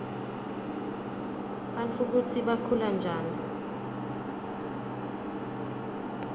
bantfu kutsi bakhulanjani